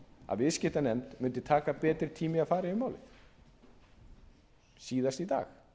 að viðskiptanefnd mundi taka betri tíma í að fara yfir málið síðast í dag